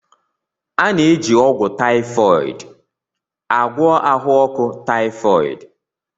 A na-eji ọgwụ typhoid agwọ ahụ ọkụ typhoid.